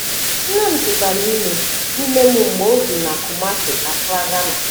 Nne m tụtara ime ime m mgbe o bi na Kumasi, Accra, Ghana.